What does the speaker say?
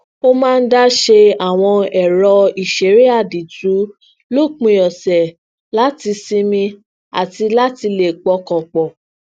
ó máa ń dá ṣe àwọn ẹrọ iṣere àdìtú lópin ọsẹ lati sinmi ati lati lè pọkàn pò